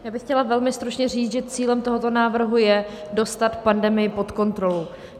Já bych chtěla velmi stručně říct, že cílem tohoto návrhu je dostat pandemii pod kontrolu.